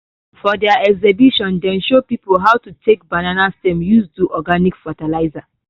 for their exhibition dem show people how to take banana stem use am do organic fertilizer